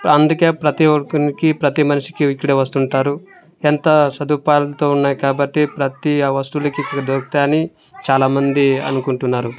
అందుకే ప్రతి ఒక్కనికి ప్రతి మనిషికి ఇక్కడ వస్తుంటారు ఎంత సదుపాయాలతో ఉన్నాయి కాబట్టి ప్రతి అ వస్తులకి ఇక్కడ దొరుకుతాయ్ అని చాలామంది అనుకుంటున్నారు.